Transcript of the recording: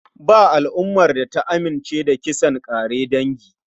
Ba al'umar da ta amince da kisan ƙare dangi.